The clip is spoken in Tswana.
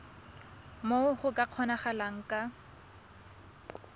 moo go ka kgonagalang ka